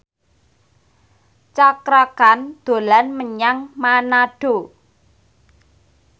Cakra Khan dolan menyang Manado